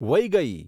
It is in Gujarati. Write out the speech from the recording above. વૈગઈ